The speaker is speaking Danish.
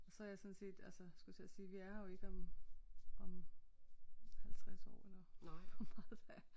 Så er jeg sådan set altså skulle jeg til at sige vi er her jo ikke om om 50 år eller hvor meget det er